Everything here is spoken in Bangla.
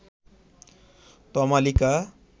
তমালিকা